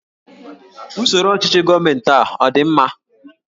Usoro ọchịchị gọọmentị a ọ dị mma?